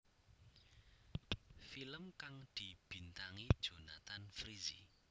Film kang dibintangi Jonthan Frizzy